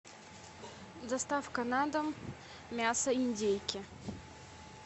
доставка на дом мясо индейки